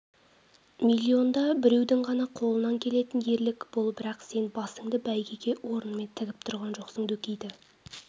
миллионда біреудің ғана қолынан келетін ерлік бұл бірақ сен басыңды бәйгеге орнымен тігіп тұрған жоқсың дөкейді